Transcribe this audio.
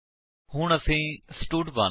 ਅਸੀ println statement ਨੂੰ ਵੀ ਹਟਾ ਦੇਵਾਂਗੇ